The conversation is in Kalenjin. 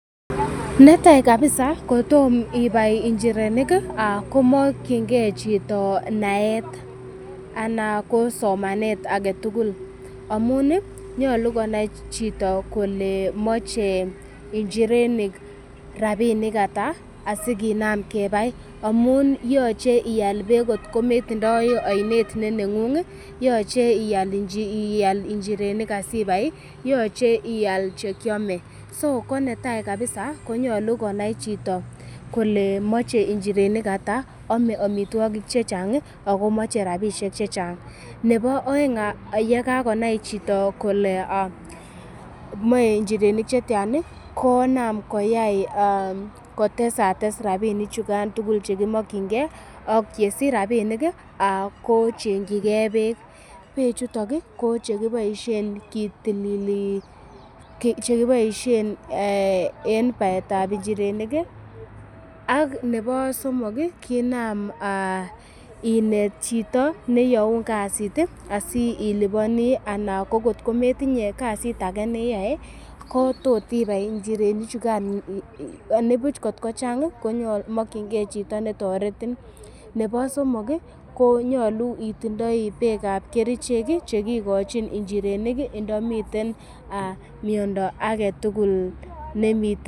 Netai kabisa kotom ibai njirenik ih komokyingee chito naet anan ko somanet aketugul amun ih nyolu konai chito kole moche njirenik rapinik ata asikinam kebai amun yoche ial beek kot ko metindoi oinet ne neng'ung ih yoche ial njirenik asibai ih yoche ial chekiome so konetai kabisa konyolu konai chito kole moche njirenik ata ame amitwogik chechang ih akomoche rapisiek chechang nebo oeng yekakonai chito kole moe njirenik chetyan ih konam koyai kotesates rapinik chukan chekimokyingee ak yesich rapinik ih kochengyi gee beek, beek chuton ko chekiboisien kitilili chekiboisien en baetab njirenik ih ak nebo somok kinam inet chito neyoun kasit asinam iliponii ana ko kot metinye kasit ake neyoe ko tot ibai njirenik chukan anibuch kot ko chang komokyingee chito netoretin nebo somok ih konyolu itindoi beek ab kerichek chekikochin njirenik ih ndomiten miondo aketugul nemiten